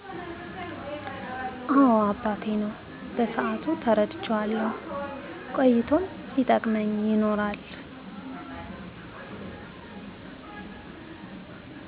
አወ አባቴ ነው በሰአቱ ተረድቸዋለሁ ቆይቶም ሲጠቅመኝ ይኖራል